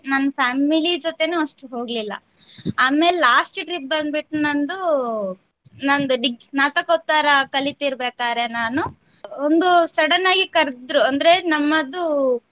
ನನ್ family ಜೊತೇನು ಅಷ್ಟು ಹೋಗ್ಲಿಲ್ಲ ಆಮೇಲೆ last trip ಬಂದ್ಬಿಟ್ಟು ನಂದು ನಂದು ~ degree ಸ್ನಾತಕೋತ್ತರ ಕಲಿತಿರಬೇಕಾದ್ರೆ ನಾನು ಒಂದು sudden ಆಗಿ ಕರದ್ರು ಅಂದ್ರೆ ನಮ್ಮದು.